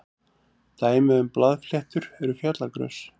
dæmi um blaðfléttur eru fjallagrös